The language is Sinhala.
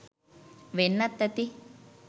වෙන්නත් ඇති.